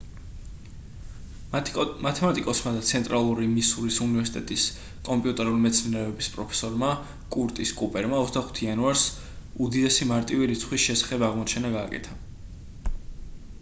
მათემატიკოსმა და ცენტრალური მისურის უნივერსიტეტის კომპიუტერული მეცნიერებების პროფესორმა კურტის კუპერმა 25 იანვარს უდიდესი მარტივი რიცხვის შესახებ აღმოჩენა გააკეთა